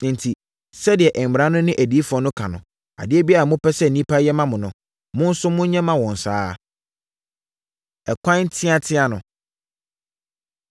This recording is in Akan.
Enti, sɛdeɛ mmara no ne adiyifoɔ no ka no, adeɛ biara a mopɛ sɛ nnipa nyɛ mma mo no, mo nso monyɛ mma wɔn saa ara. Ɛkwan Teateaa No